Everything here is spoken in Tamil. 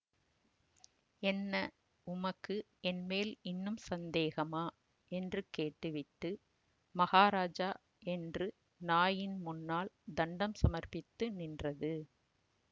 என்ன உமக்கு என்மேல் இன்னும் சந்தேகமா என்று கேட்டுவிட்டு மகாராஜா என்று நாயின் முன்னால் தண்டம் சமர்ப்பித்து நின்றது